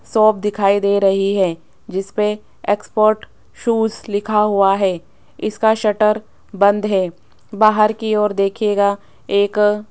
shop दिखाई दे रही है जिस पर एक्सपोर्ट शूज लिखा हुआ है इसका शटर बंद है बाहर की ओर देखिएगा एक --